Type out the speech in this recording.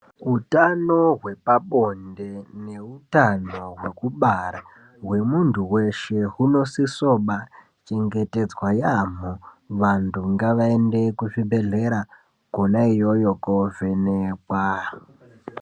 Utano hwepabonde neutano hwekubara hwemuntu weshe huno sisoba chengetedzwa yamho. Vantu ngavaende kuzvibhedhleya kona iyoyo kovhenekwa.